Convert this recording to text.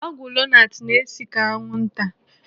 Ọgwụ Lonart na-esi ka anwụnta.